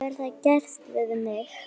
Hefur það gerst við mig?